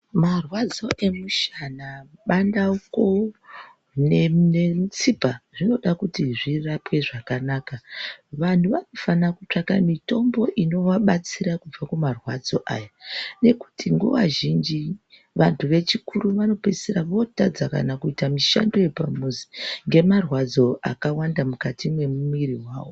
Marwadzo emushana, bandauko nemutsipa zvinoda kuti zvirapwe zvakanaka, vanhu vanofana kutsvaga mitombo inovabatsira kubva kumarwadzo, aya ngekuti nguva zhinji vanhu vechikuru vanopedzisira votadza kana kuite mishando yepamuzi ngemarwadzo akawanda mukati memwiiri yavo.